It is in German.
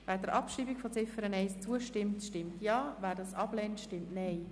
Wer der Abschreibung von Ziffer 1 zustimmt, stimmt Ja, wer dies ablehnt, stimmt Nein.